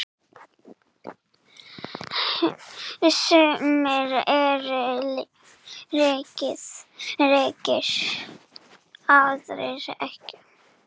Sumir eru ríkir, aðrir ekki.